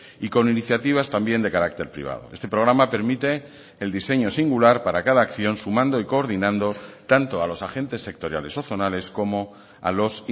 y con iniciativas también de carácter privado este programa permite el diseño singular para cada acción sumando y coordinando tanto a los agentes sectoriales o zonales como a los